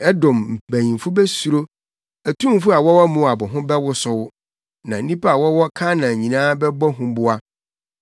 Edom mpanyimfo besuro. Atumfo a wɔwɔ Moab ho bɛwosow. Na nnipa a wɔwɔ Kanaan nyinaa bɛbɔ huboa.